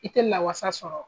I tɛ lawasa sɔrɔ.